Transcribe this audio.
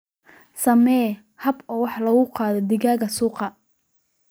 Samee hab wax ku ool ah oo loogu qaado digaagga suuqa.